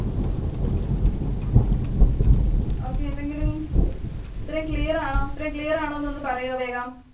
Okay. എന്തെങ്കിലും. ഇത്രയും clear ആണോ? ഇത്രയും clear ആണോന്ന് ഒന്ന് പറയുവോ വേഗം.